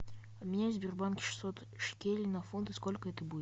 обменяй в сбербанке шестьсот шекелей на фунты сколько это будет